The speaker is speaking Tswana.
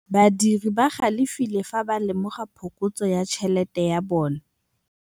Badiri ba galefile fa ba lemoga phokotsô ya tšhelête ya bone.